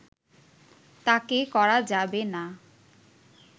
তাকে করা যাবে না